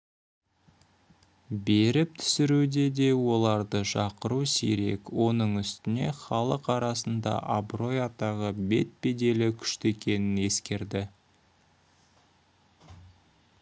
беріп түсіруде де оларды шақыру сирек оның үстіне халық арасында абырой-атағы бет-беделі күшті екенін ескерді